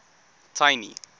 tiny